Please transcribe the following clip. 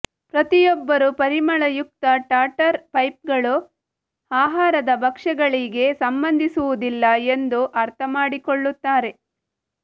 ಪ್ರತಿಯೊಬ್ಬರೂ ಪರಿಮಳಯುಕ್ತ ಟಾಟರ್ ಪೈಗಳು ಆಹಾರದ ಭಕ್ಷ್ಯಗಳಿಗೆ ಸಂಬಂಧಿಸುವುದಿಲ್ಲ ಎಂದು ಅರ್ಥಮಾಡಿಕೊಳ್ಳುತ್ತಾರೆ